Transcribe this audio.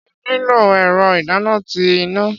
Ṣé ẹ nlo ẹ̀rọ ìdáná ti iná?